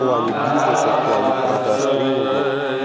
в плане бизнеса в плане продаж тренингов